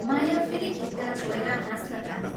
माया फेरि खित्का छोडेर हाँस्न थाली।